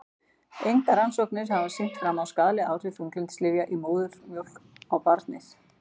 Engar rannsóknir hafa sýnt fram á skaðleg áhrif þunglyndislyfja í móðurmjólk á barnið.